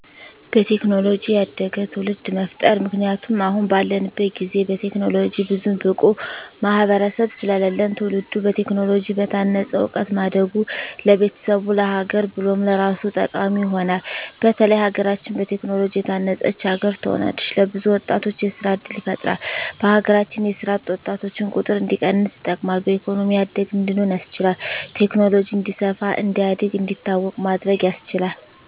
በቴክኖሎጂ ያደገ ትዉልድ መፍጠር ምክንያቱም አሁን ባለንበት ጊዜ በቴክኖሎጂ ብዙም ብቁ ማህበረሰብ ስለለለን ትዉልዱ በቴክኖሎጂ በታነፀ እዉቀት ማደጉ ለቤተሰቡ፣ ለሀገር ብሎም ለራሱ ጠቃሚ ይሆናል። በተለይ ሀገራችን በቴክኖሎጂ የታነፀች ሀገር ትሆናለች። ለብዙ ወጣቶች የስራ እድል ይፈጥራል በሀገራችን የስራ አጥ ወጣቶችን ቁጥር እንዲቀንስ ይጠቅማል። በኢኮኖሚ ያደግን እንድንሆን ያስችላል። ቴክኖሎጂ እንዲስፋ፣ እንዲያድግ፣ እንዲታወቅ ማድረግ ያስችላል።